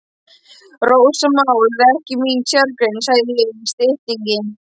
Rósamál er ekki mín sérgrein, sagði ég í styttingi.